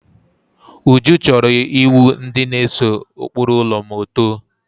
Uju chọrọ iwu ndi na-ese ụkpụrụ ụlọ ma otoo